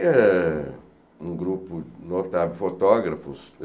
Ah um grupo notável de fotógrafos.